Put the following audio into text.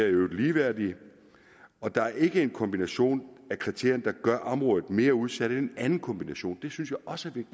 i øvrigt ligeværdige og der er ikke en kombination af kriterierne der gør området mere udsat end en anden kombination det synes jeg også